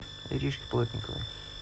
иришке плотниковой